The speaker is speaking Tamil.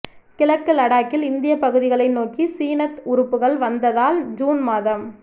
கிழக்கு லடாக்கில் இந்திய பகுதிகளை நோக்கி சீனத் உறுப்புகள் வந்ததால் ஜூன் மாதம்